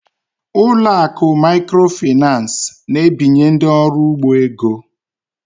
Ụlọ akụ microfinance na-ebinye ndị ọrụ ugbo ego.